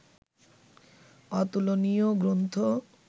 অতুলনীয় গ্রন্থ